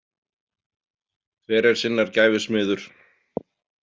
Hver er sinnar gæfu smiður.